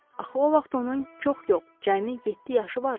Axı o vaxt onun çox yox, cəmi yeddi yaşı vardı.